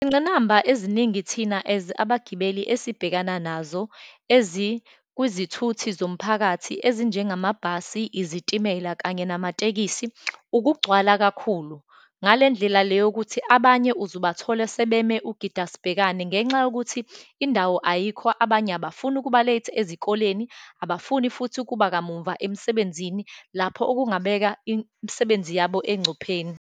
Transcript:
Ingqinamba eziningi thina as abagibeli esibhekana nazo ezikwizithuthi zomphakathi, ezinjengamabhasi, izitimela, kanye namatekisi, ukugcwala kakhulu, ngale ndlela le yokuthi abanye uzobathole sebeme ugidasibhekani, ngenxa yokuthi indawo ayikho, abanye abafuni ukuba late ezikoleni, abafuni futhi ukuba kamumva emsebenzini, lapho okungabeka imisebenzi yabo engcupheni.